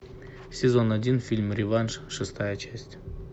сезон один фильм реванш шестая часть